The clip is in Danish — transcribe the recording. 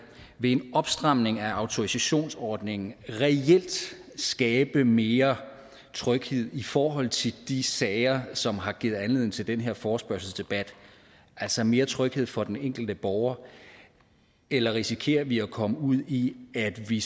vil en opstramning af autorisationsordningen reelt skabe mere tryghed i forhold til de sager som har givet anledning til den her forespørgselsdebat altså mere tryghed for den enkelte borger eller risikerer vi at komme ud i at vi